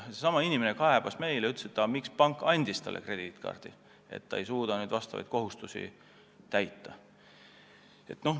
Seesama inimene kaebas meile jälle ja kurtis, miks pank andis talle krediitkaardi, ta ei suuda nüüd oma kohustusi täita.